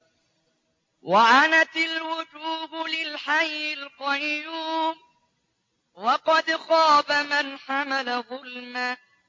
۞ وَعَنَتِ الْوُجُوهُ لِلْحَيِّ الْقَيُّومِ ۖ وَقَدْ خَابَ مَنْ حَمَلَ ظُلْمًا